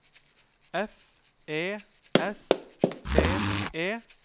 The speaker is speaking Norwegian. F E S T E